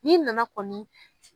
Nin nana kɔni